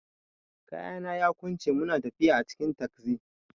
Kayana yaƙunce muna tafiya a cikin tagzi.